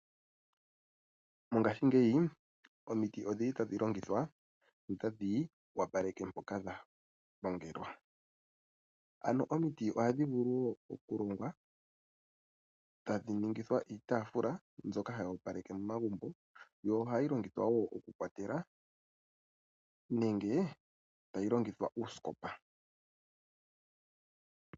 Mongashingeyi omiti odhili tadhi longithwa notadhi opaleke mpoka hapu longelwa. Ano omiti ohadhi vulu wo okuhongwa etadhi ningi iitafula mbyoka hayi opaleke momagumbo yo ohayi longithwa wo okukwatela nenge tayi longithwa uusikopa.